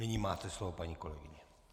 Nyní máte slovo, paní kolegyně.